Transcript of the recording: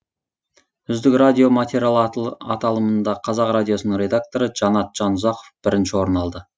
үздік радио материал аталымында қазақ радиосының редакторы жанат жанұзақов бірінші орын алды